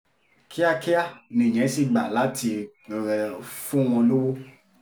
kíákíá nìyẹn sì gbà láti fún wọn lọ́wọ́